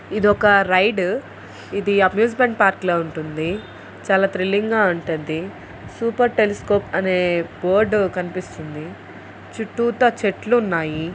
ఇదొక రైడ్ . ఇది amusement park లా ఉంటుంది. చాలా థ్రిల్లింగ్ గా ఉంటుంది. సూపర్ టెలీస్కోప్ అనే బోర్డ్ కనిపిస్తుంది. చుట్టూతా చెట్లున్నాయి.